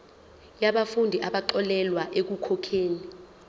yabafundi abaxolelwa ekukhokheni